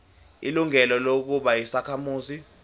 ilungelo lokuba yisakhamuzi